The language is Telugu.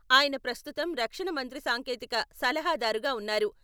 ఆయన ప్రస్తుతం రక్షణ మంత్రి సాంకేతిక సలహాదారుగా ఉన్నారు.